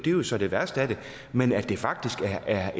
jo så det værste af det men at det faktisk er